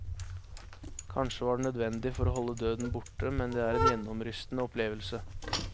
Kanskje var det nødvendig for å holde døden borte, men det er en gjennomrystende opplevelse.